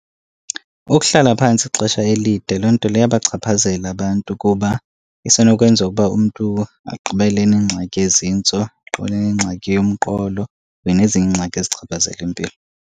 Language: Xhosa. Ukuhlala phantsi ixesha elide loo nto leyo iyabachaphazela abantu kuba isenokwenzeka ukuba umntu agqibele enengxaki yezintso, agqibele enengxaki yomqolo kunye nezinye iingxaki ezichaphazela impilo.